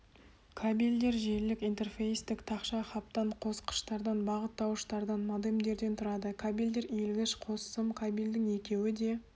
кабельдер желілік интерфейстік тақша хабтан қосқыштардан бағыттауыштардан модемдерден тұрады кабельдер иілгіш қос сым кабельдің екеуі де